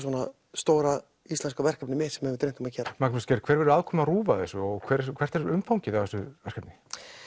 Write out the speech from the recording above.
stóra íslenska verkefni mitt sem mig hefur dreymt um að gera Magnús Geir hver er aðkoma RÚV að þessu og hvert er umfangið að þessu verkefni